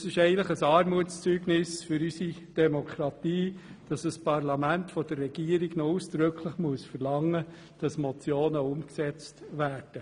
Es ist eigentlich ein Armutszeugnis für unsere Demokratie, dass ein Parlament von der Regierung ausdrücklich verlangen muss, dass Motionen umgesetzt werden.